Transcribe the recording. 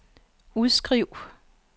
udskriv